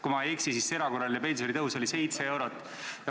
Kui ma ei eksi, siis erakorraline pensionitõus oli 7 eurot.